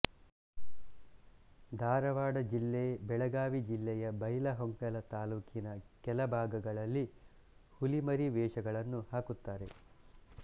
ಧಾರವಾಡ ಜಿಲ್ಲೆ ಬೆಳಗಾವಿ ಜಿಲ್ಲೆಯ ಬೈಲಹೊಂಗಲ ತಾಲೂಕಿನ ಕೆಲಭಾಗಗಳಲ್ಲಿ ಹುಲಿ ಮರಿ ವೇಷಗಳನ್ನು ಹಾಕಿರುತ್ತಾರೆ